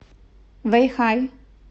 вэйхай